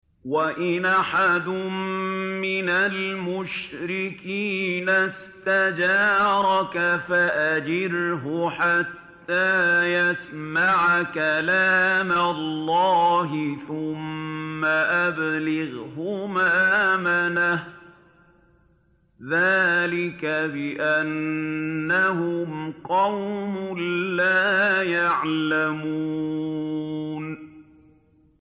وَإِنْ أَحَدٌ مِّنَ الْمُشْرِكِينَ اسْتَجَارَكَ فَأَجِرْهُ حَتَّىٰ يَسْمَعَ كَلَامَ اللَّهِ ثُمَّ أَبْلِغْهُ مَأْمَنَهُ ۚ ذَٰلِكَ بِأَنَّهُمْ قَوْمٌ لَّا يَعْلَمُونَ